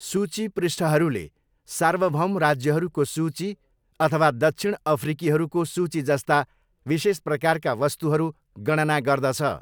सूची पृष्ठहरूले सार्वभौम राज्यहरूको सूची अथवा दक्षिण अफ्रिकीहरूको सूचीजस्ता विशेष प्रकारका वस्तुहरू गणना गर्दछ।